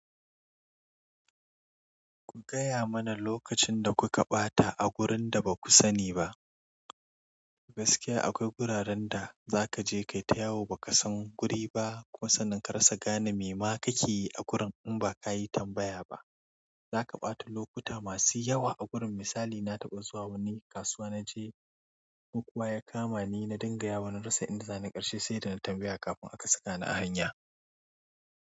Ku gaya mana lokacin da kuka ɓata a wurin da ba ku sani ba. Gaskiya akwai wuraren da za ka je ka yi ta yawo ba ka san guri ba. Kuma sannan ka rasa gane me ma ka ke yi a gurin in ba ka yi tambaya ba. Za ka ɓata lokuta masu yawa a gurin. Misali na taɓa zuwa wani kasuwa naje makuwa ya kama ni na dinga yawa na rasa inda zani ƙarshe sai da na tambaya kafin aka saka ni a hanya.